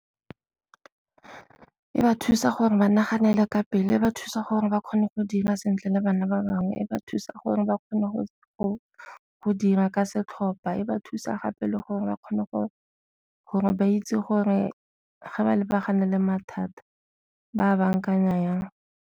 E ba thusa gore ba naganele ka pele, e ba thusa gore ba kgone go dira sentle le bana ba bangwe, e ba thusa gore ba kgone go dira ka setlhopha, e ba thusa gape le gore ba kgone gore ba itse gore fa ba lebagane le mathata ba bankanya jang.